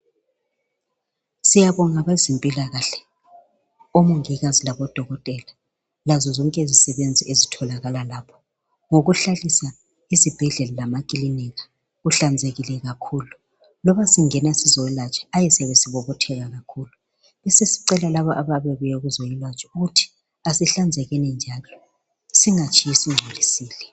Siyabonga abezempilakahle omongikazi labo dokotela lazozonke izisebenzi ezitholakala lapho, ngokuhlalisa izibhedlela lamacliniki kuhlanzekile kakhulu, loba singena sizolatshwa ayi siyabe sibobotheka kakhulu, besesicela labo ababuya ukuzolatshwa ukuthi asihlanzekeni njalo singatshiyi singcolidile.